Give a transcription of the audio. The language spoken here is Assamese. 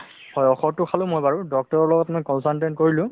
হয় ঔষধতো খালো মই বাৰু doctor ৰৰ লগত মই consultant কৰিলো